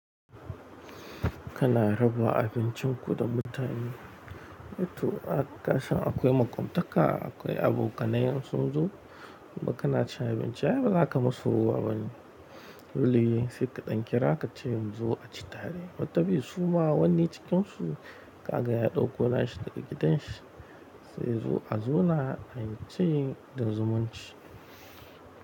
Kana raba abincin ku da mutane. Eh to, a kasan akwai maƙwaftaka, akwai abokanai in sun zo, kuma kana cin abinci ai bazaka musu rowa ba ne. Dole ne sai ƙa ɗan kira ka ce mun zo a ci tare. Wataƙil su ma wani cikin su ka ga ya ɗauko na shi daga giɗan shi, zai zo a zauna a yi cin da zumunci.